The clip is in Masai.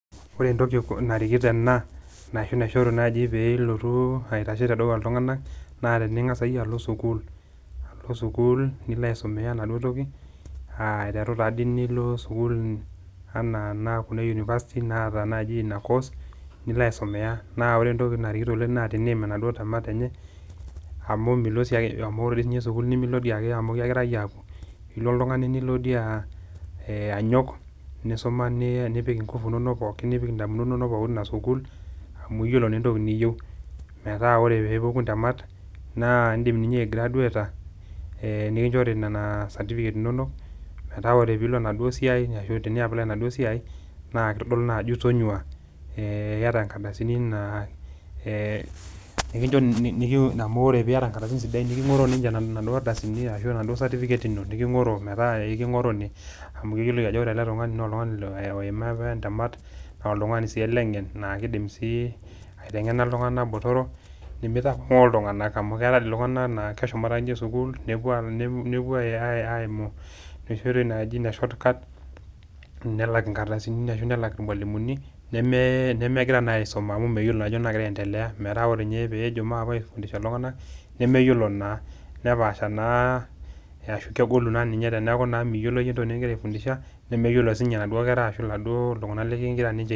Ore entoki narikito ena, ashu naishoru naaji piilotu aitashe tedukuya iltung'ana naa tining'as iyie alo sukuuli, alo sukuul nilo aisomea inaduo toki aa aiteru taadii nilo sukuul enaa kuna e university naata naaji ina course nilo aisomea naa kore entoki narikito naa teniim inaduo temat enye, amu ore dii sininye sukuuli nimilo ake amu kegirae apuo Ilo oltung'ani nilo dii anyok nisuma nipik inkufu inonok pookin, nipik indamunot inonok ina sukuul amuu iyiolou naa entoki niyieu metaa ore peepuku ntemat, naa indim aigraduata nikichori nena certificate inonok meeta tinilo enaduoo siai ashu tiniapply enaduoo siai, naa kitodolu naa ajo itonyuaa ee iata nkardasini naa ee nei amu teniata nkardasini sidain niking'oro ninche naduoo ardasini ashu naduoo certificate ino niking'oro metaa eking'oroo ninye amu keyioloi ajo ore ele tung'ani naa oloima apa entemat naa oltung'ani sii ele ng'en keidim ateng'ena iltung'ana botorok, nemeitapong'oo iltung'ana amu keetae doi iltung'ana naa keshomoito ake ninche sukuuli nepuo aimu noshi oitoi naaji ine shortcut, nelak nkardasini ashu nelak irmwalimuni nemegira naa ninye aesuma amu meyiolo ajo nyoo nagira aendelea metaa ore tenejo maape aifundishare iltung'ana nemeyiolo naa, nepaasha naa , kegolu naa ninye teneeku meyiolo entoki nikigira aifundisha nemeyiolo si ninche naduoo keraa ashu laduoo tung'ana ligira ninche.